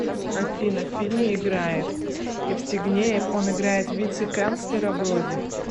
афина в фильме играет евстигнеев он играет вице канцлера вроде